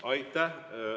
Aitäh!